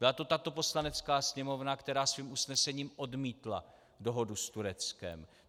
Byla to tato Poslanecká sněmovna, která svým usnesením odmítla dohodu s Tureckem.